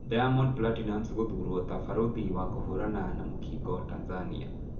Diamond Platinumz gũthurwo ta barũthi wa kũhũrana na mũkingo Tanzania